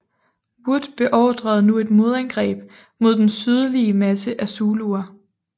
Wood beordrede nu et modangreb mod den sydlige masse af zuluer